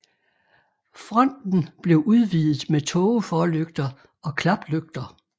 Fronten blev udvidet med tågeforlygter og klaplygter